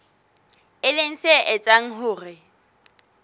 e leng se etsang hore